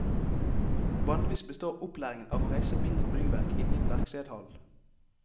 Vanligvis består opplæringen av å reise mindre byggverk inne i en verkstedhall.